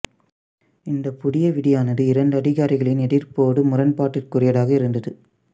இந்தப் புதிய விதியானது இரண்டு அதிகாரிகளின் எதிர்ப்போடு முரண்பாட்டிற்குரியதாக இருந்தது